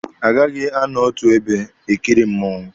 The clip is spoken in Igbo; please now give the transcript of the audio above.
Agighi anọ n'otu ebe e kiri mmụọnwụ.